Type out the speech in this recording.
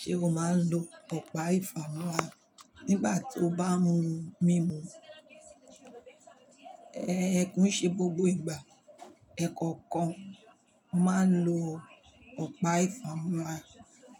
Ṣé o máa ń lo ọ̀pá ìfámọ́ra nígbà tí o bá ń mu mímu? Ẹ̀ ko n ṣe gbogbo ìgbà, ẹ̀ kọ̀ọ̀kan mo máa ń lo ọ̀pá ìfámọ́ra